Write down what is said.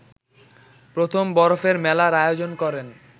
প্রথম বরফের মেলার আয়োজন করেন